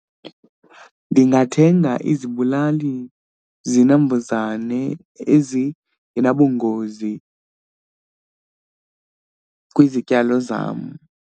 Ndingathenga izibulali zinambuzane ezingenabungozi kwizityalo zam.